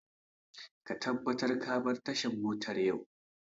Ka tabbata ka bar tashar motar yau!